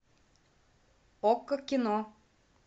окко кино